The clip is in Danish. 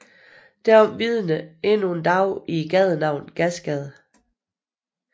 Derom vidner endnu i dag gadenavnet Gasgade